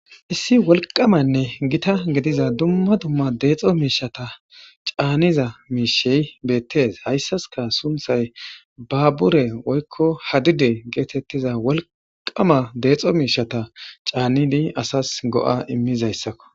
Issi wolqamanne gita gidiza dumma dumma deexo miishshata caaniza miishshey beetees hayssaska sunththay babure woykko hadide geetetiza wolqama deexo miishshata caanidi asas go'a immizayssako.